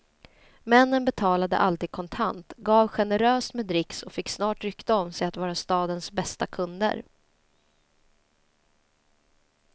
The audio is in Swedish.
Männen betalade alltid kontant, gav generöst med dricks och fick snart rykte om sig att vara stadens bästa kunder.